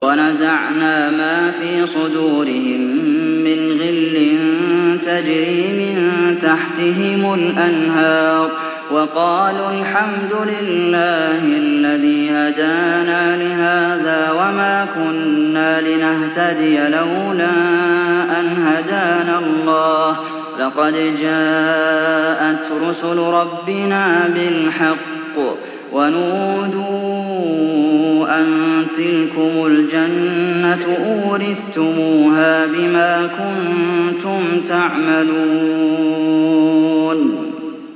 وَنَزَعْنَا مَا فِي صُدُورِهِم مِّنْ غِلٍّ تَجْرِي مِن تَحْتِهِمُ الْأَنْهَارُ ۖ وَقَالُوا الْحَمْدُ لِلَّهِ الَّذِي هَدَانَا لِهَٰذَا وَمَا كُنَّا لِنَهْتَدِيَ لَوْلَا أَنْ هَدَانَا اللَّهُ ۖ لَقَدْ جَاءَتْ رُسُلُ رَبِّنَا بِالْحَقِّ ۖ وَنُودُوا أَن تِلْكُمُ الْجَنَّةُ أُورِثْتُمُوهَا بِمَا كُنتُمْ تَعْمَلُونَ